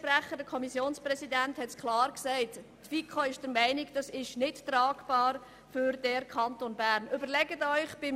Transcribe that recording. Der FiKo-Präsident hat klar gesagt, die Mehrheit der FiKo sei der Meinung, dies sei für den Kanton Bern nicht tragbar.